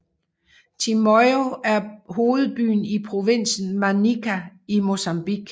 Chimoio er hovedbyen i provinsen Manica i Mozambique